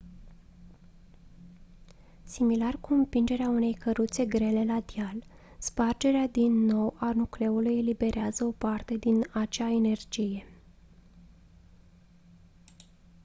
similar cu împingerea unei căruțe grele la deal spargerea din nou a nucleului eliberează o parte din acea energie